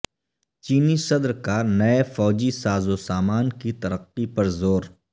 چینی صدر کا نئے فوجی ساز و سامان کی ترقی پر زور